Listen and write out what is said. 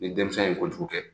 Ni denmisɛn ye kojugu kɛ